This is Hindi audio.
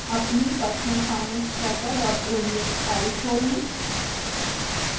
अपनी personalfinancetracker ods file खोलें